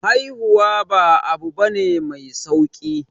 Haihuwa ba abu bane mai sauki